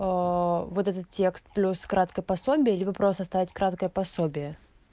вот этот текст плюс краткое пособие или вы просто оставить краткое пособие